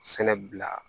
Sɛnɛ bila